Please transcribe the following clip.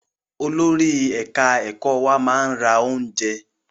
Olórí ẹ̀ka ẹ̀kọ́ wa máa ra oúnjẹ.